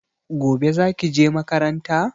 Gobe zaki je makaranta?